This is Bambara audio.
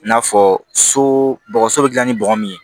I n'a fɔ so bɔgɔso bɛ dilan ni bɔgɔ min ye